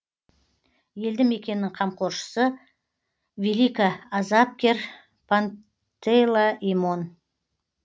елді мекеннің қамқоршысы великоазапкер пантелеимон